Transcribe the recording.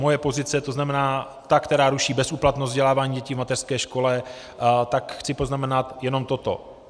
Moje pozice, to znamená ta, která ruší bezúplatnost vzdělávání dětí v mateřské škole, tak chci poznamenat jenom toto.